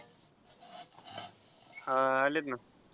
अं आलेत ना.